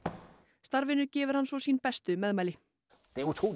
starfinu gefur hann sín bestu meðmæli